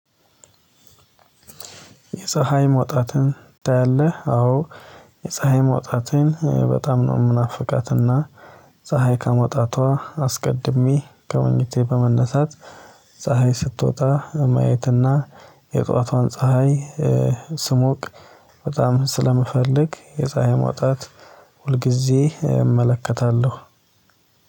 የፀሀይ መውጣትን ታያለህ? አዎ የፀሀይ መውጣትን በጣም ነው የምናፍቃትና ፀሀይ ከመውጣቷ አስቀድሜ ከመኝታዬ በመነሳት ፀሀይ ስትወጣ ማየትና የጧቷን ፀሀይ ስሞቅ በጣም ስለምፈልግ የፀሀይ መውጣት ሁልጊዜ እመለከታለሁ።